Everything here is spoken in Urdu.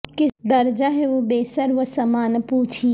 کس درجہ ہے وہ بے سر و ساماں نہ پوچھیے